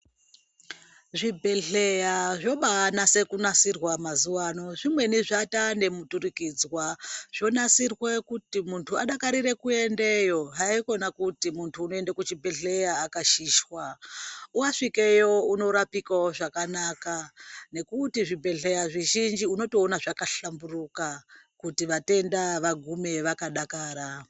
Zvibhedhlera zvobaanase kunasirwa mazuva ano, zvimweni zvataane muturikidzwa. Zvonasirwa kuti muntu adakarire kuendayo, haikona kuti muntu unoende kuchibhedhlera akashishwa. Wasvikeyo unorapikawo zvakanaka nekuti zvibhedhlera zvizhinji unotoona zvakahlamburuka kuti vatenda vagume vakadakara.